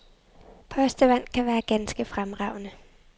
Postevand kan være ganske fremragende.